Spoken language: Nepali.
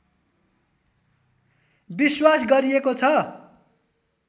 विश्वास गरिएको छ